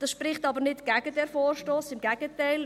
Das spricht aber nicht gegen diesen Vorstoss, im Gegenteil.